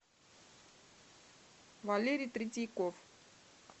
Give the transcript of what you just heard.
валерий третьяков